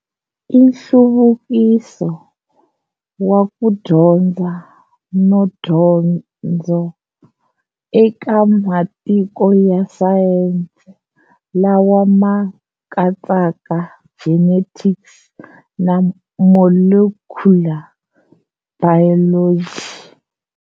I nhluvukiso wa ku dyondza no dyondzo eka matiko ya sayense lawa ma katsaka genetics na molecular biology.